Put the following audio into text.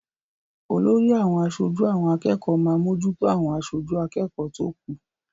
Olórí àwọn aṣojú àwọn akẹ́kọ̀ọ́ máa mójútó àwọn aṣojú akẹ́kọ̀ọ́ tó kù.